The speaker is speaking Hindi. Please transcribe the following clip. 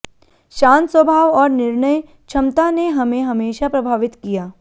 शांत स्वभाव और निर्णय क्षमता ने हमें हमेशा प्रभावित किया